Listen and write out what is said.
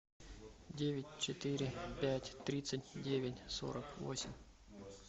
девять четыре пять тридцать девять сорок восемь